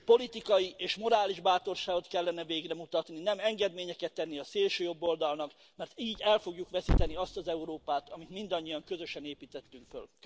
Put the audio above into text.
Politikai és morális bátorságot kellene végre mutatni, nem engedményeket tenni a szélsőjobboldalnak, mert így el fogjuk veszíteni azt az Európát, amit mindannyian közösen építettünk föl.